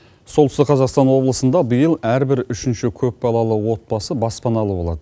солтүстік қазақстан облысында биыл әр бір үшінші көп балалы отбасы баспаналы болады